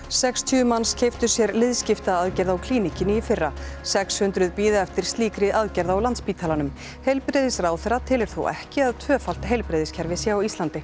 sextíu manns keyptu sér liðskiptaaðgerð á Klíníkinni í fyrra sex hundruð bíða eftir slíkri aðgerð á Landspítalanum heilbrigðisráðherra telur þó ekki að tvöfalt heilbrigðiskerfi sé á Íslandi